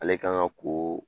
Ale kan ka ko